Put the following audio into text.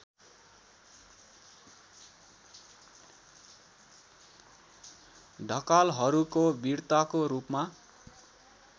ढकालहरूको विर्ताको रूपमा